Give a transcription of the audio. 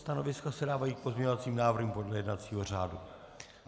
Stanoviska se dávají k pozměňovacím návrhům podle jednacího řádu.